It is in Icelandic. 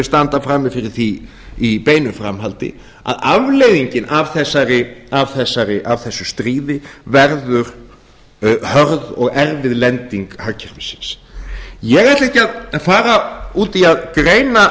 standa frammi fyrir því í beinu framhaldi að afleiðingin af þessu stríði verður hörð og erfið lending hagkerfisins ég ætla ekki að fara út í að greina